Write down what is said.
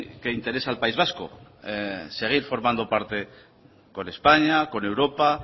que interesa al país vasco seguir formando parte con españa con europa